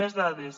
més dades